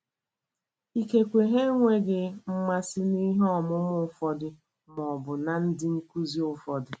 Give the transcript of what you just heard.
Ikekwe ha enweghị mmasị n’ihe ọmụmụ ụfọdụ ma ọ bụ ná ndị nkụzi ụfọdụ.